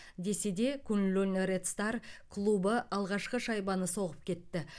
десе де куньлунь ред стар клубы алғашқы шайбаны соғып кетті